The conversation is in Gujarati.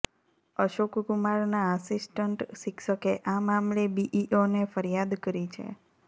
અશોક કુમારના આસિસ્ટન્ટ શિક્ષકે આ મામલે બીઇઓને ફરિયાદ કરી છે